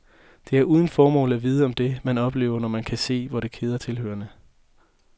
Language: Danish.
Det er uden formål at vidne om det, man oplevede, når man kan se, hvor det keder tilhørerne.